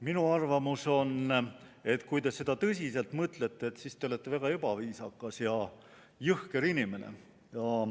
Minu arvamus on, et kui te seda tõsiselt mõtlete, siis te olete väga ebaviisakas ja jõhker inimene.